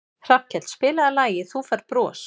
Hallkell, spilaðu lagið „Þú Færð Bros“.